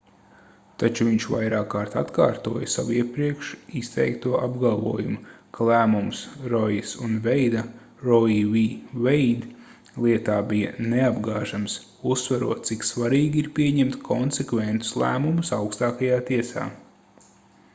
taču viņš vairākkārt atkārtoja savu iepriekš izteikto apgalvojumu ka lēmums roijas un veida roe v. wade lietā bija neapgāžams uzsverot cik svarīgi ir pieņemt konsekventus lēmumus augstākajā tiesā